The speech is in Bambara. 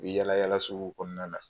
I be yaala yaala suguw kɔɔna na